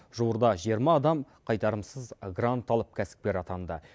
жуырда жиырма адам қайтарымсыз грант алып кәсіпкер атанды